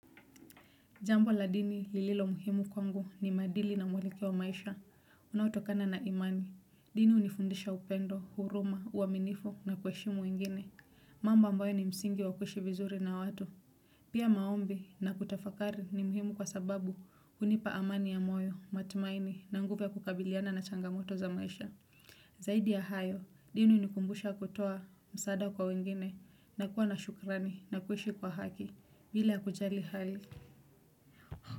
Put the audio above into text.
Jambo la dini lililo muhimu kwangu ni maadili na mwelekeo wa maisha, unaotokana na imani. Dini hunifundisha upendo, huruma, uaminifu na kuheshimu wengine, mambo ambayo ni msingi wa kuishi vizuri na watu. Pia maombi na kutafakari ni muhimu kwa sababu hunipa amani ya moyo, matumaini na nguvu ya kukabiliana na changamoto za maisha. Zaidi ya hayo, dini hunikumbusha kutoa msaada kwa wengine na kuwa na shukrani na kuishi kwa haki bila kujali hali.